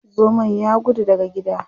Zomon ya gudu daga gida.